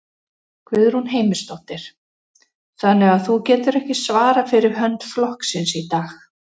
Guðrún Heimisdóttir: Þannig að þú getur ekki svarað fyrir hönd flokksins í dag?